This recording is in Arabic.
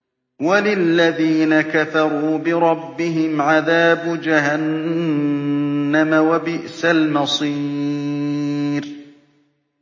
وَلِلَّذِينَ كَفَرُوا بِرَبِّهِمْ عَذَابُ جَهَنَّمَ ۖ وَبِئْسَ الْمَصِيرُ